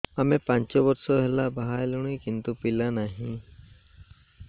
ଆମେ ପାଞ୍ଚ ବର୍ଷ ହେଲା ବାହା ହେଲୁଣି କିନ୍ତୁ ପିଲା ନାହିଁ